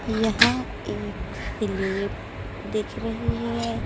यहां एक स्लैब दिख रही है।